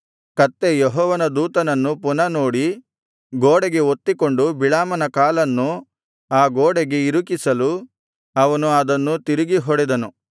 ಕತ್ತೆ ಯೆಹೋವನ ದೂತನನ್ನು ಪುನಃ ನೋಡಿ ಗೋಡೆಗೆ ಒತ್ತಿಕೊಂಡು ಬಿಳಾಮನ ಕಾಲನ್ನು ಆ ಗೋಡೆಗೆ ಇರುಕಿಸಲು ಅವನು ಅದನ್ನು ತಿರುಗಿ ಹೊಡೆದನು